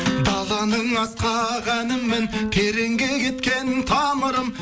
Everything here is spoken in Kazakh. даланың асқақ әнімін тереңге кеткен тамырым